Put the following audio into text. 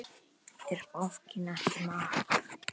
Er bankinn ekki með app?